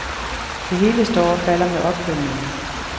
Det hele står og falder med opfølgningen.